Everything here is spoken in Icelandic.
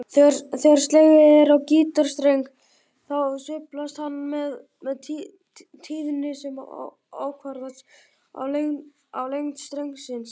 Þegar slegið er á gítarstreng þá sveiflast hann með tíðni sem ákvarðast af lengd strengsins.